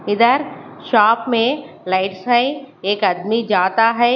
इधर शॉप में लाइट्स है एक आदमी जाता है।